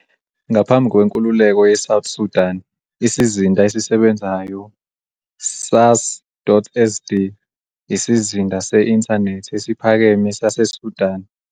Ngaphambi kwenkululeko yeSouth Sudan, isizinda esisebenzayo sas.sd, isizinda se-inthanethi esiphakeme saseSudan.